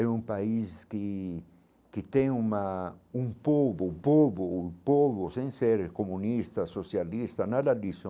É um país que que tem uma um povo um povo um povo sem ser comunista, socialista, nada disso,